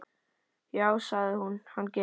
Já, sagði hún, hann gerir það.